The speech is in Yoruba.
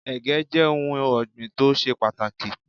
Ẹ̀gẹ́ jẹ́ ohun ọ̀gbìn tó ṣe pàtàkì.